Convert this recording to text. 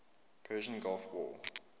persian gulf war